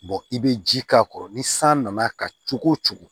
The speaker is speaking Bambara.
i bɛ ji k'a kɔrɔ ni san nana kan cogo o cogo